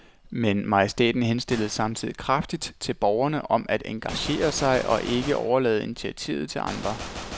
Men majestæten henstillede samtidig kraftigt til borgerne om at engagere sig og ikke bare overlade initiativet til andre.